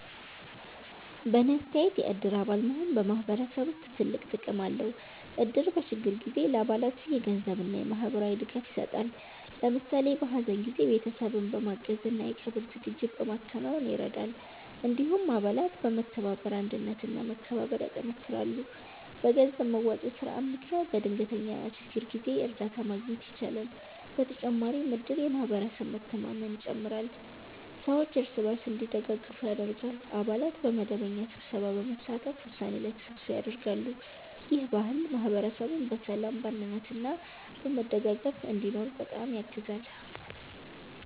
በእኔ አስተያየት የእድር አባል መሆን በማህበረሰብ ውስጥ ትልቅ ጥቅም አለው። እድር በችግር ጊዜ ለአባላቱ የገንዘብ እና የማህበራዊ ድጋፍ ይሰጣል። ለምሳሌ በሀዘን ጊዜ ቤተሰብን በማገዝ እና የቀብር ዝግጅት በማከናወን ይረዳል። እንዲሁም አባላት በመተባበር አንድነት እና መከባበር ያጠናክራሉ። በገንዘብ መዋጮ ስርዓት ምክንያት በድንገተኛ ችግር ጊዜ እርዳታ ማግኘት ይቻላል። በተጨማሪም እድር የማህበረሰብ መተማመንን ይጨምራል፣ ሰዎች እርስ በርስ እንዲደጋገፉ ያደርጋል። አባላት በመደበኛ ስብሰባ በመሳተፍ ውሳኔ ላይ ተሳትፎ ያደርጋሉ። ይህ ባህል ማህበረሰቡን በሰላም፣ በአንድነት እና በመደጋገፍ እንዲኖር በጣም ያግዛል።